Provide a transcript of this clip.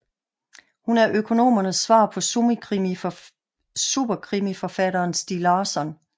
Hun er økonomernes svar på superkrimiforfatteren Stieg Larsson